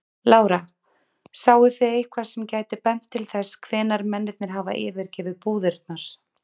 Lára: Sáu þið eitthvað sem gæti bent til þess hvenær mennirnir hafa yfirgefið búðirnar?